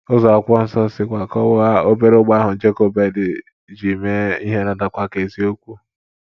Ụzọ akwụkwọ nsọ sikwa kọwaa obere ụgbọ ahụ Jokebed ji mee ihe na - adakwa ka eziokwu.